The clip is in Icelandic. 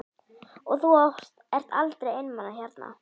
Og þú ert aldrei einmana hérna?